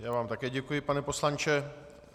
Já vám také děkuji, pane poslanče.